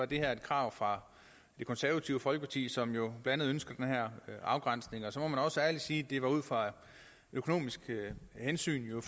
det her et krav fra det konservative folkeparti som jo blandt andet ønskede den her afgrænsning og så må man også ærligt sige at det var ud fra økonomiske hensyn